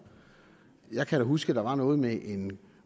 jeg kan da huske at der var noget med en